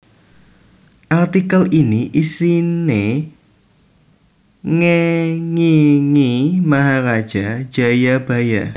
Artikel ini isiné ngéngingi Maharaja Jayabhaya